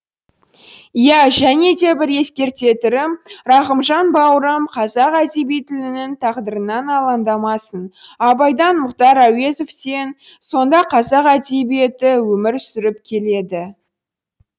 иә және де бір ескертетерім рахымжан бауырым қазақ әдебиетінің тағдырынан алаңдамасын абайдан мұхтар әуезовтен соң да қазақ әдебиеті өмір сүріп келеді